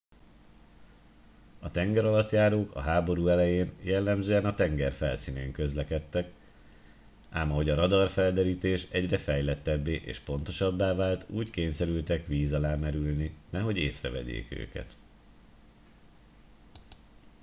a tengeralattjárók a háború elején jellemzően a tenger felszínén közlekedtek ám ahogy a radarfelderítés egyre fejlettebbé és pontosabbá vált úgy kényszerültek víz alá merülni nehogy észrevegyék őket